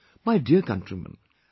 My dear countrymen,